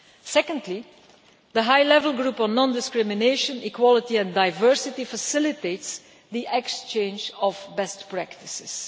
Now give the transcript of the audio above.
Secondly, the High Level Group on Non discrimination, Equality and Diversity facilitates the exchange of best practices.